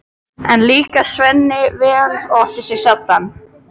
Enn líkaði Sveini vel og át sig saddan.